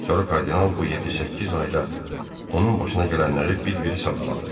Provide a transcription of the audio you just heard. Sonra kardinal bu yeddi-səkkiz ayda onun başına gələnləri bir-biri sadaladı.